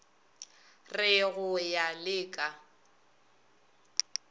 re go ya le ka